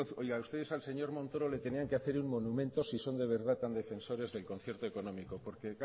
concierto económico oiga ustedes al señor montoro le tenían que hacer un monumento si son de verdad tan defensores del concierto económico porque